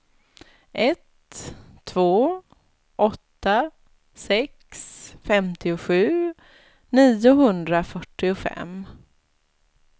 ett två åtta sex femtiosju niohundrafyrtiofem